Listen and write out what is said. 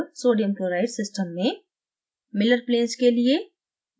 अब sodium chloride system में miller planes के लिए